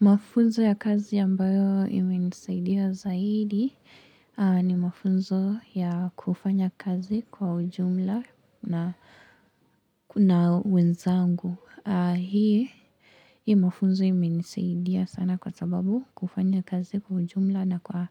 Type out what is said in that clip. Mafunzo ya kazi ya ambayo imenisaidia zaidi ni mafunzo ya kufanya kazi kwa ujumla na wenzangu. Hii mafunzo imenisaidia sana kwa sababu kufanya kazi kwa ujumla na kwa